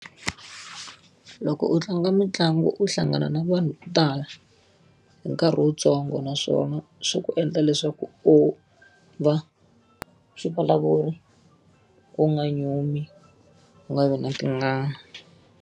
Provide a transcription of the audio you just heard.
Loko u tlanga mitlangu u hlangana na vanhu vo tala, hi nkarhi wuntsongo naswona swi ku endla leswaku u va u nga nyumi, u nga vi na tingana.